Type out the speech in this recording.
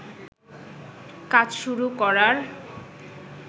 কাজ শুরু করার